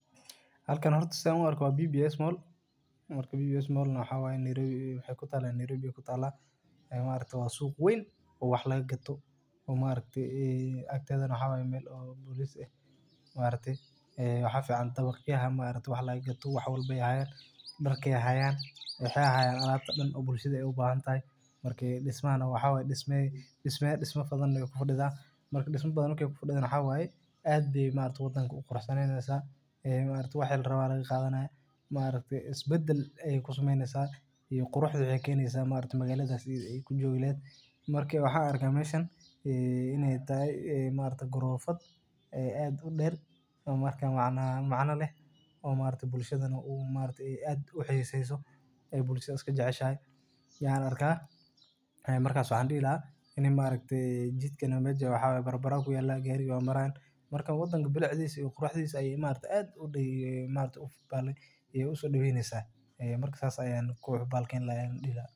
Halkani horta san uarko wa bbs mall marka bbs mall nah waxay kutala Nairobi , wa aragtee wa suq wen oowax lagaqato oo maarakte akteda nah waxa waye mel oo ,waxa fican maarakte dawaqyaha wax lagagato wahwalba ayay hayaan, darka ayay hayaan waxay hayaan alabta dan oo bulshada ubahantahay, marka dismahana waxa waye dismihi badan ayay kufadidaa, matka disma badan nah markay kufadido waxa wayee aad bay maarakte wadanka uqurux saneyneysa, ee maarakte wixi larabo aya lagawadanaya isbadal ayay kusameyneysa iyo waxay keneysa quruxda magalada ay kujogi lahed, marka waxan arka meshaan ee inay tahay gorofad ee aad udeer oo macna leh oo bulshadana maarakte aad uhiseyso ay bulsha iskajeceshahay aan arka, markas waxa dihi lahay ini maarakte jidkana mesha waxa waye barabara kuyalan marka wadanka quruxdisa iyo bilicdisa ayay maarakte aad usodaweyneysa, ee mark sas ayan dihi lahaa.